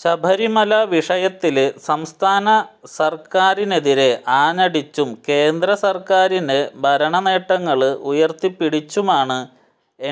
ശബരിമല വിഷയത്തില് സംസ്ഥാന സര്ക്കാരിനെതിരെ ആഞ്ഞടിച്ചും കേന്ദ്രസര്ക്കാരിനെ ഭരണ നേട്ടങ്ങള് ഉയര്ത്തിപ്പിടിച്ചുമാണ്